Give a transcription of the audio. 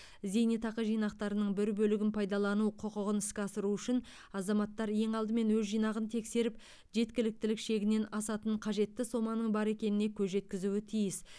зейнетақы жинақтарының бір бөлігін пайдалану құқығын іске асыру үшін азаматтар ең алдымен өз жинағын тексеріп жеткіліктілік шегінен асатын қажетті соманың бар екеніне көз жеткізуі тиіс